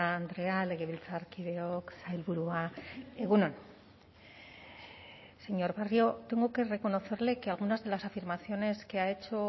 andrea legebiltzarkideok sailburua egun on señor barrio tengo que reconocerle que algunas de las afirmaciones que ha hecho